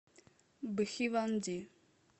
бхиванди